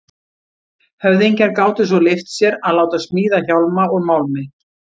Höfðingjar gátu svo leyft sér að láta smíða hjálma úr málmi.